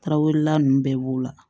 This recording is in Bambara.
Tarawelela nunnu bɛɛ b'o la